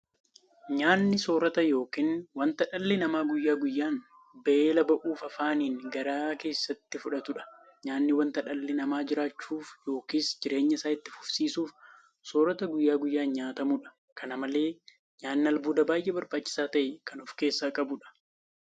Nyaanni soorota yookiin wanta dhalli namaa guyyaa guyyaan beela ba'uuf afaaniin gara keessaatti fudhatudha. Nyaanni wanta dhalli namaa jiraachuuf yookiin jireenya isaa itti fufsiisuuf soorata guyyaa guyyaan nyaatamudha. Kana malees nyaanni albuuda baay'ee barbaachisaa ta'e kan ofkeessaa qabudha.